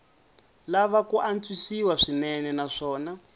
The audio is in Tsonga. lava ku antswisiwa swinene naswona